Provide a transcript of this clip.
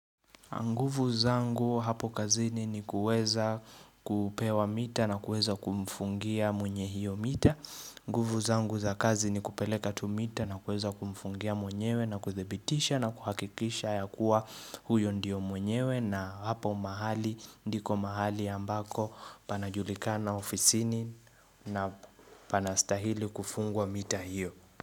Nguvu zangu hapo kazini ni kuweza kupewa mita na kuweza kumfungia mwenye hiyo mita. Nguvu zangu za kazi ni kupeleka tu mita na kuweza kumfungia mwenyewe na kuthibitisha na kuhakikisha ya kuwa huyo ndiyo mwenyewe na hapo mahali ndiko mahali ambako panajulikana ofisini na panastahili kufungwa mita hiyo.